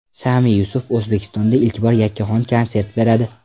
Sami Yusuf O‘zbekistonda ilk bor yakkaxon konsert beradi.